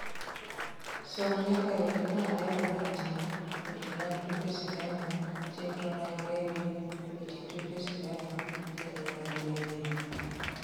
som nyaka weche malero mantie weche mag tuke sinema chenro mag redio weche tuke sinema chenro mag redio